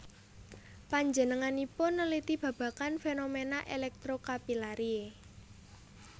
Panjenenganipun neliti babagan fenomena electrocapillary